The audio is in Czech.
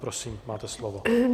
Prosím, máte slovo.